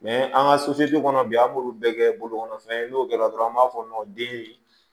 an ka kɔnɔ bi an b'olu bɛɛ kɛ bolokɔnɔfɛn ye n'o kɛra dɔrɔn an b'a fɔ nɔ den